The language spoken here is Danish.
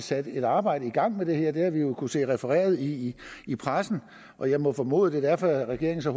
sat et arbejde i gang med det her det har vi jo kunnet se refereret i i pressen og jeg må formode at det er derfor at regeringen så